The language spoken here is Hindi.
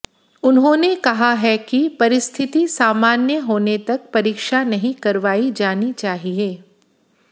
उन्होंने कहा है कि परिस्थिति सामान्य होने तक परीक्षा नहीं करवाई जानी चाहिए